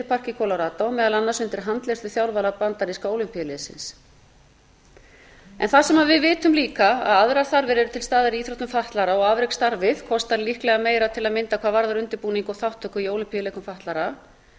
í winterpark í colorado meðal annars undir handleiðslu þjálfara bandaríska ólympíuliðsins það sem við vitum líka að aðrar þarfir eru til staðar í íþróttum fatlaðra og afreksstarfið kostar líklega meira til að mynda hvað varðar undirbúning og þátttöku í ólympíuleikum fatlaðra